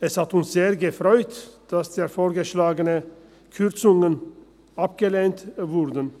Es hat uns sehr gefreut, dass die vorgeschlagenen Kürzungen abgelehnt wurden.